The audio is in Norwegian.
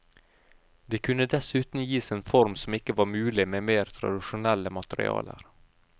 De kunne dessuten gis en form som ikke var mulig med mer tradisjonelle materialer.